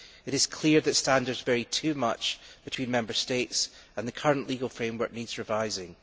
It is clear that standards vary too much between Member States and the current legal framework needs revising.